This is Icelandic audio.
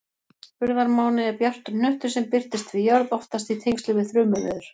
Urðarmáni er bjartur hnöttur sem birtist við jörð, oftast í tengslum við þrumuveður.